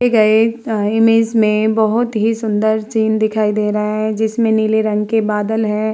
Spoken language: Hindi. इमेज में बोहोत ही सुन्दर सीन दिखाई दे रहा है। जिसमे नीले रंग के बादल हैं।